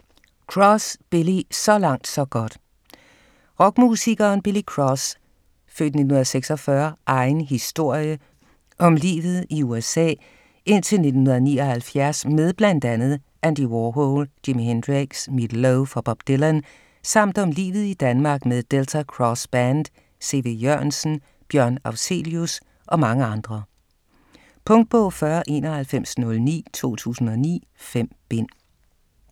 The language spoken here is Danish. Cross, Billy: Så langt så godt Rockmusikeren Billy Cross' (f. 1946) egen historie om livet i USA indtil 1979 med bl.a. Andy Warhol, Jimmy Hendrix, Meat Loaf og Bob Dylan samt om livet i Danmark med Delta Cross Band, C.V. Jørgensen, Björn Afzelius og mange andre. Punktbog 409109 2009. 5 bind.